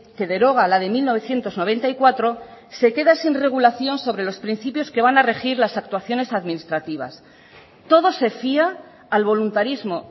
que deroga la de mil novecientos noventa y cuatro se queda sin regulación sobre los principios que van a regir las actuaciones administrativas todo se fía al voluntarismo